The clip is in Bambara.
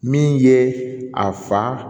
Min ye a fa